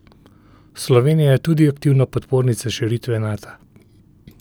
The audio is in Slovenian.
Slovenija je tudi aktivna podpornica širitve Nata.